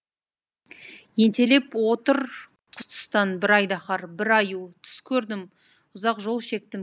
ентелеп отыр қос тұстан бір айдаһар бір аю түс көрдім ұзақ жол шектім